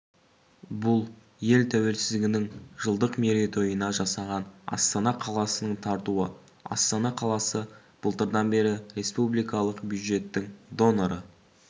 бұл ел тәуелсіздігінің жылдық мерейтойына жасаған астана қаласының тартуы астана қаласы былтырдан бері республикалық бюджеттің доноры